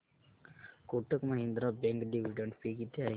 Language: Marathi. Kotak Mahindra bank dividend pay किती आहे